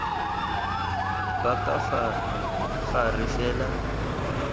ba ka fa gare fela